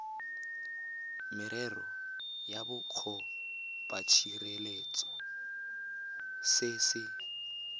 merero ya bokopatshireletso se se